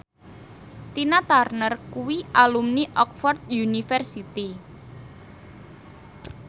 Tina Turner kuwi alumni Oxford university